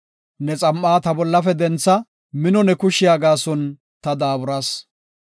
Ne xam7a ta bollafe dentha; mino ne kushiya gaason ta daaburas.